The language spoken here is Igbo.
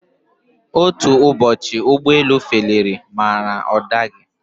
Otú Ụbọchị ụgbọ elu feliri ma ọ daghi.